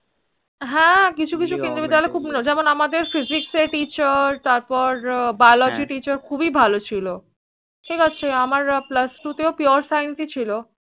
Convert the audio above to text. হ্য়াঁ কিছু কিছু কেন্দ্র বিদ্যালয় খুব যেমন আমাদের Physics এর teacherBiology Teacher খুবই ভালো ছিল আমার Plus Two Pure Science ছিল